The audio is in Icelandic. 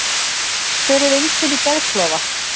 Hver eru einkenni geðklofa?